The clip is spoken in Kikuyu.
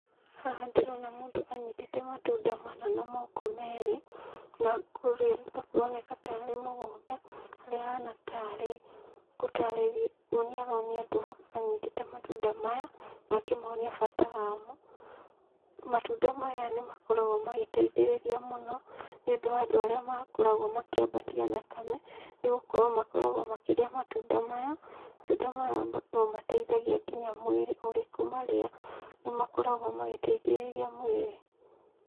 Haha ndĩrona mũndũ anyitĩte matunda mana na moko merĩ, na kũrĩa arĩ kũroneka tarĩ mũgũnda, harĩa ahana tarĩ gũtarĩria kuonia aronia andũ anyitĩte matunda maya, na akĩmonia bata wamo, matunda maya nĩ makoragwo magĩteithĩrĩria mũno, nĩũndũ wa andũ arĩa makoragwo makĩambatia thakame, nĩgũkorwo makoragwo makĩrĩa matunda maya, matunda maya no mateithagia nginya mwĩrĩ ũrĩkũmarĩa, nĩ makoragwo magĩteithĩrĩria mwĩrĩ.